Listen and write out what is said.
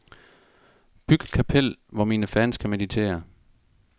Byg et kapel, hvor mine fans kan meditere.